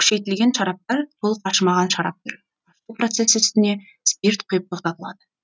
күшейтілген шараптар толық ашымаған шарап түрі ашыту процесі үстіне спирт құйып тоқтатылады